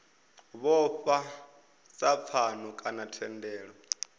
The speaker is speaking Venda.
vhofha sa pfano kana thendelano